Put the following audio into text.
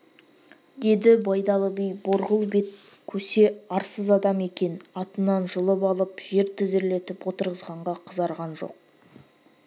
деді байдалы би борғыл бет көсе арсыз адам екен атынан жұлып алып жер тізерлетіп отырғызғанға қызарған жоқ